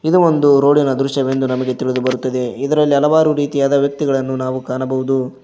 ಇದು ಒಂದು ರೋಡಿನ ದೃಶ್ಯ ಎಂದು ತಿಳಿದು ಬರುತ್ತದೆ ಇದರಲ್ಲಿ ಹಲವಾರು ರೀತಿಯಾದ ವ್ಯಕ್ತಿಗಳನ್ನು ಕಾಣಬಹುದು.